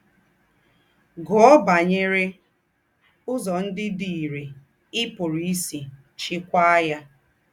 Gúọ̀ bányerè úzọ̀ ńdị́ dì ìrè í pùrù ísì chíkwàá ya.